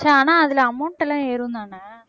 ஆனா அதிலே amount எல்லாம் ஏறும்தானே